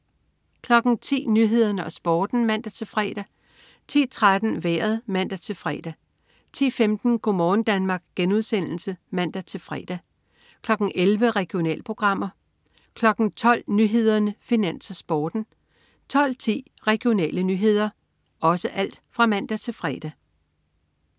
10.00 Nyhederne og Sporten (man-fre) 10.13 Vejret (man-fre) 10.15 Go' morgen Danmark* (man-fre) 11.00 Regionalprogrammer (man-fre) 12.00 Nyhederne, Finans, Sporten (man-fre) 12.10 Regionale nyheder (man-fre)